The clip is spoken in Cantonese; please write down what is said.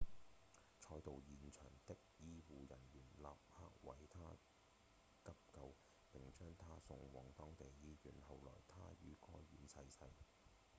賽道現場的醫護人員立刻為他急救並將他送往當地醫院後來他於該院逝世